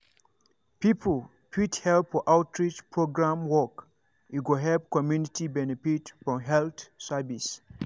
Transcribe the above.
people fit help for outreach program work e go help community benefit from health service.